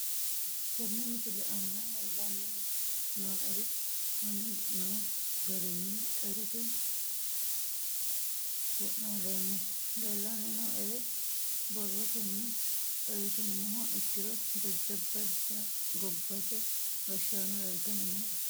Tene misile aana leelanni nooerre aane noo garinni xawisate wonaaleemmo. Leelanni nooerre borrotenni xawisummoha ikkiro jajjaba gobbate gashshano leeltanni nooe.